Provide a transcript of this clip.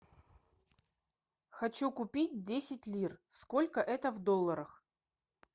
хочу купить десять лир сколько это в долларах